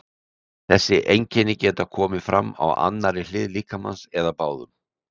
Þessi einkenni geta komið fram á annarri hlið líkamans eða báðum.